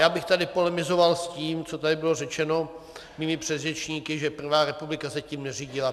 Já bych tady polemizoval s tím, co tady bylo řečeno mými předřečníky, že první republika se tím neřídila.